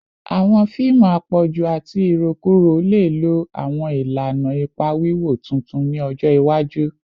Awọn fiimu apọju ati irokuro le lo awọn ilana ipa wiwo tuntun ni ọjọ iwaju